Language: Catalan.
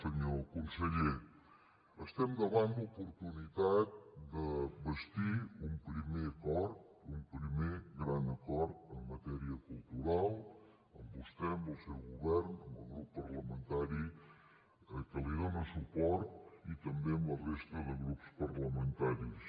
senyor conseller estem davant l’oportunitat de bastir un primer acord un primer gran acord en matèria cultural amb vostè amb el seu govern amb el grup parlamentari que li dóna suport i també amb la resta de grups parlamentaris